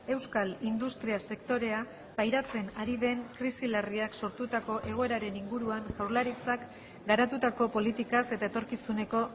euskal industria sektorea pairatzen ari den krisi larriak sortutako egoeraren inguruan jaurlaritzak garatutako politikaz eta etorkizuneko